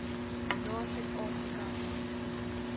na suid afrika